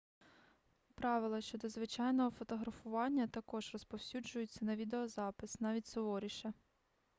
правила щодо звичайного фотографування також розповсюджуються на відеозапис навіть суворіше